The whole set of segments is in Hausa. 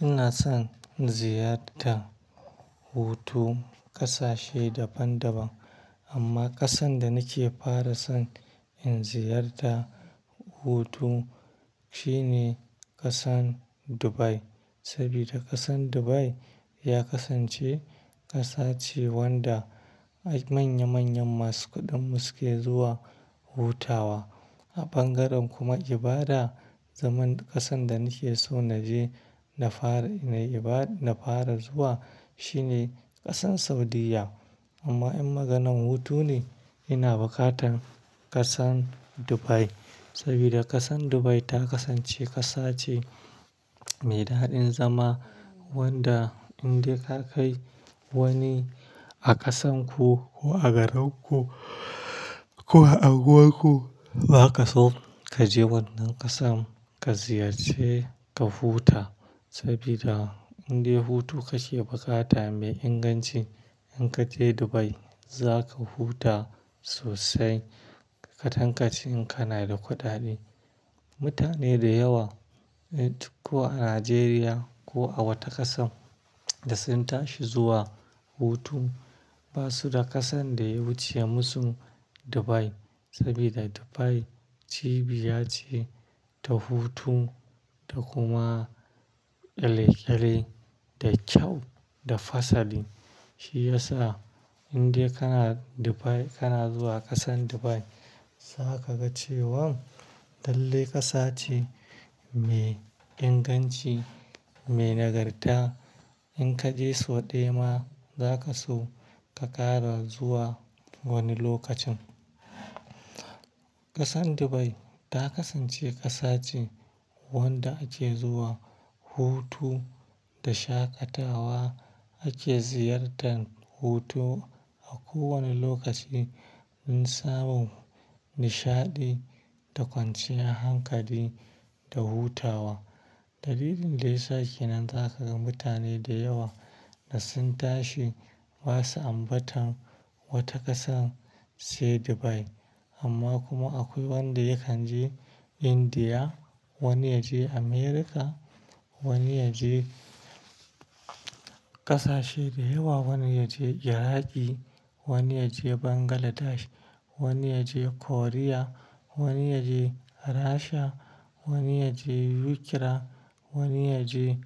Ina son ziyarta hutu kasashe daban-daban amma kasan da nake fara son in ziyarta hutu shine kasan Dubai. Saboda kasan Dubai ya kasance kasa ce wanda ai manya-manyan masu kuɗin mu suke zuwa hutawa. A bangaren kuma ibada, zaman kasan da nake so na je na fara, na iba-- na fara zuwa shine kasan Saudiya. Amma in maganan hutu ne ina bukatar kasan Dubai. Saboda kasan Dubai ta kasance kasa ce mai daɗin zama wanda in dai ka kai wani a kasan ku ko a garinku ko a unguwarku, za ka so ka je wannan kasan ka ziyarci ka huta. Saboda in dai hutu kake bukata mai inganci, in ka je Dubai za ka huta sosai ka tankace in kana da kuɗaɗe. Mutane da yawa, eh, ko a Najeriya ko a wata kasan da sun tashi zuwa hutu ba su da kasan da ya wuce musu Dubai. Saboda Dubai cibiya ce ta hutu da kuma elegele da kyau da fasali. Shi ya sa in dai kana Dubai, kana zuwa kasan Dubai, za ka ga cewan lalle kasa ce mai inganci, mai nagarta. In ka je sau ɗaya ma, za ka so ka ƙara zuwa wani lokacin. Kasan Dubai ta kasance kasa ce wanda ake zuwa hutu da shaƙatawa. Ake ziyartan hutu a kowane lokaci in samun nishaɗi da kwanciyar hankali da hutawa. Dalilin da ya sa kenan za ka ga mutane da yawa da sun tashi ba su ambatan wata kasan sai Dubai. Amma kuma akwai wanda yakan je India, wani ya je America, wani ya je kasashe da yawa, wani ya je Iraqi, wani ya je Bangladesh, wani ya je Korea, wani ya je Rasha, wani ya je Ukra, wani ya je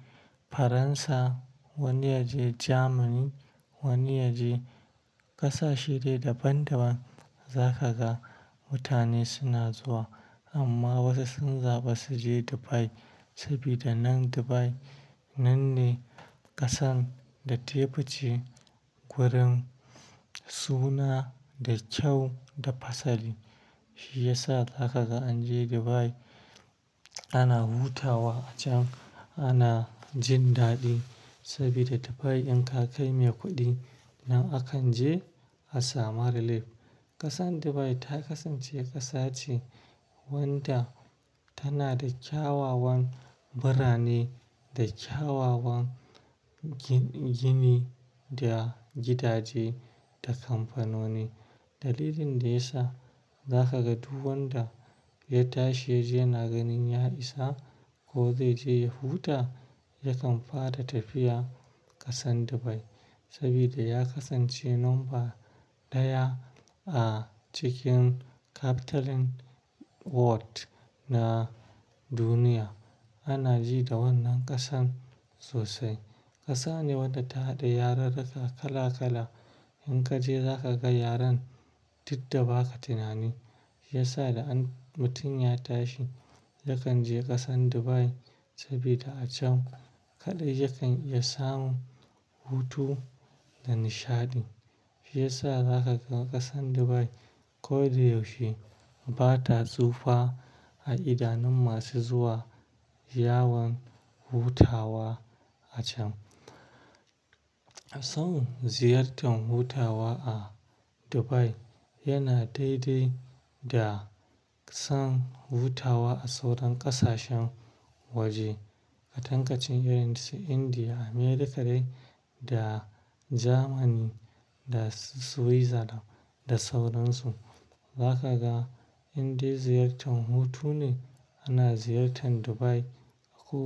Faransa, wani ya je Jamani, wani ya je kasashe dai daban-daban. Za ka ga mutane suna zuwa amma wasu sun zaɓi su je Dubai. Saboda nan Dubai nan ne kasan da tayi fice kwarin suna da kyau da fasali. Shi ya sa za ka ga an je Dubai ana hutawa acan, ana jin daɗi. Saboda Dubai in ka kai mai kuɗi nan akan je a samu relief. Kasan Dubai ta kasance kasa ce wanda tana da kyawawan birane da kyawawan gini da gidaje da kamfanoni. Dalilin da ya sa za ka ga duk wanda ya tashi, ya je na ganin ya isa ko zai je ya huta, yakan fara tafiya kasan Dubai. Saboda ya kasance numba ɗaya a cikin capital world na duniya. Ana ji da wannan kasan sosai. Kasa ne wadda ta haɗa yararaka kala-kala. In ka je za ka ga yaran, duk da ba ka tunani. Shi ya sa da mutum ya tashi, yakan je kasan Dubai saboda a can kaɗai yakan iya samun hutu da nishaɗi. Shi ya sa za ka ga kasan Dubai ko da yaushe bata tsufa a idanun masu zuwa yawon hutawa a can. Son ziyartan hutawa a Dubai yana daidai da son hutawa a sauran ƙasashen waje. A tankaicin irin su Indiya, Amerika dai da Jamani da su wizada da sauran su. Za ka ga in dai ziyartan hutu ne ana ziyartan Dubai a ko-